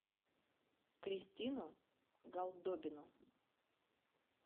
кристину голдобину